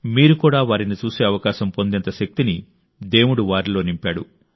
మీరు కూడా వారిని చూసే అవకాశం పొందేంత శక్తిని దేవుడు వారిలో నింపాడు